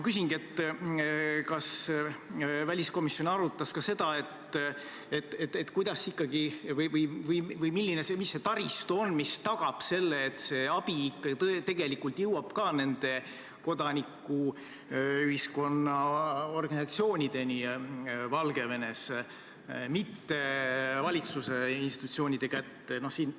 Kas väliskomisjon arutas ka seda, milline on see taristu, mis tagab selle, et see abi ikka tegelikult jõuab nende kodanikuühiskonna organisatsioonideni Valgevenes, mitte valitsuse institutsioonide kätte?